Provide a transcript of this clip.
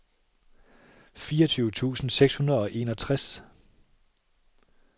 fireogtyve tusind seks hundrede og enogtres